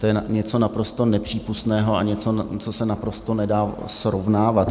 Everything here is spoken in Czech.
To je něco naprosto nepřípustného a něco, co se naprosto nedá srovnávat.